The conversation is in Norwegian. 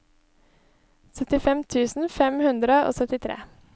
syttifem tusen fem hundre og syttitre